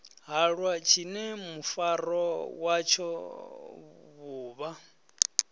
halwa tshine mufaro watsho vhuvha